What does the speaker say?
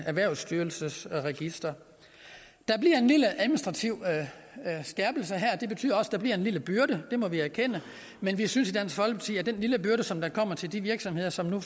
erhvervsstyrelsens register der bliver en lille administrativ skærpelse her det betyder også at der bliver en lille byrde det må vi erkende men vi synes i dansk folkeparti at den lille byrde som kommer til de virksomheder som nu